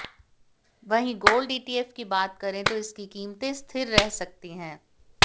वहीं gold ETF की बात करें तो इसकी कीमतें स्थिर रह सकती है